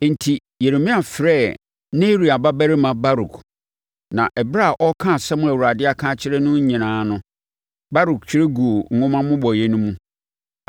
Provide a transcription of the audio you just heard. Enti, Yeremia frɛɛ Neria babarima Baruk, na ɛberɛ a ɔreka nsɛm a Awurade aka akyerɛ no nyinaa no, Baruk twerɛ guu nwoma mmobɔeɛ no mu.